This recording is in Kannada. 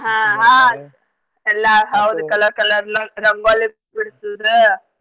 ಎಲ್ಲಾ colour colour ಲ~ ರಂಗೋಲಿ ಬಿಡ್ಸುದ್.